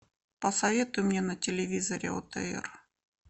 посоветуй мне на телевизоре отр